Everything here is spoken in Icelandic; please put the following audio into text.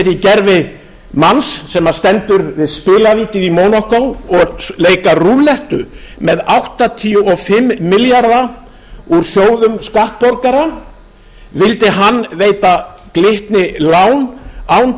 sér í beri manns sem stendur við spilavíti í mónakó og leika rúllettu með áttatíu og fimm milljarða úr sjóðum skattborgara vildi hann veita glitni lán án